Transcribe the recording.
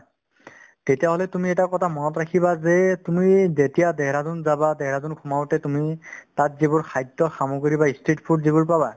তেতিয়াহ'লে তুমি এটা কথা মনত ৰাখিবা যে তুমি যেতিয়া দেহৰাদুন যাবা দেহৰাদুন সোমাওতে তুমি তাত যিবোৰ খাদ্য সামগ্ৰী বা ই street food যিবোৰ পাবা